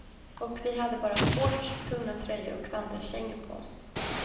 Och vi hade bara shorts, tunna tröjor och vandrarkängor på oss.